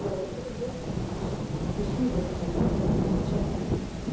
Þetta hefur mótað viðhorf hans ekki síður en háskólanámið sjálft.